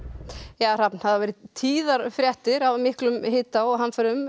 það hafa verið tíðar fréttir af miklum hita og hamförum